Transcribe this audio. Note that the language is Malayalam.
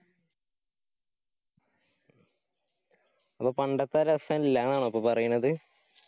അപ്പൊ പണ്ടത്തെ രസ ഇല്ലാന്ന് aano ഇപ്പൊ പറയിന്നത്‌?